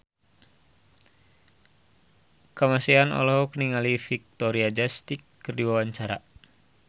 Kamasean olohok ningali Victoria Justice keur diwawancara